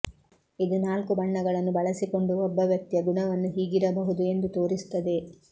ಇದು ನಾಲ್ಕು ಬಣ್ಣಗಳನ್ನು ಬಳಸಿಕೊಂಡು ಒಬ್ಬ ವ್ಯಕ್ತಿಯ ಗುಣವನ್ನು ಹೀಗಿರಬಹುದು ಎಂದು ತೋರಿಸುತ್ತದೆ